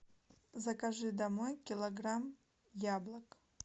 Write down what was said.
закажи домой килограмм яблок